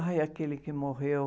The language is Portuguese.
Ai, aquele que morreu.